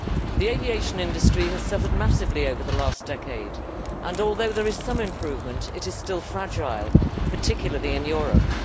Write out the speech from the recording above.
The aviation industry has suffered massively over the last decade and although there is some improvement, it is still fragile, particularly in Europe.